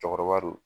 Cɛkɔrɔba don